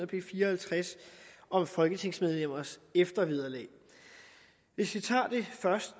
b fire og halvtreds om folketingsmedlemmers eftervederlag hvis vi tager